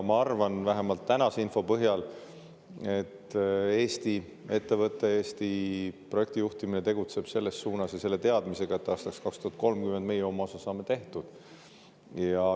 Ma arvan, vähemalt tänase info põhjal, et Eesti ettevõte, Eesti projektijuhtimine tegutseb selles suunas ja selle teadmisega, et aastaks 2030 saame meie oma osa tehtud.